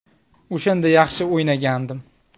O‘shanda yaxshi o‘ynagandim.